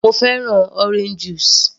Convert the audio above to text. Mo fẹ́ràn orange juice